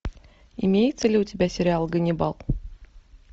имеется ли у тебя сериал ганнибал